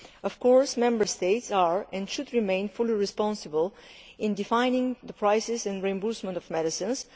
Of course Member States are, and should remain, fully responsible for regulating the pricing and reimbursement of medicines.